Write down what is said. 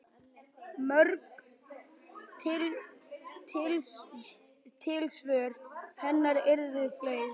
Mörg tilsvör hennar urðu fleyg.